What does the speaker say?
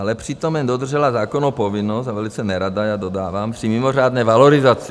Ale přitom jen dodržela zákonnou povinnost a velice nerada - já dodávám - při mimořádné valorizaci.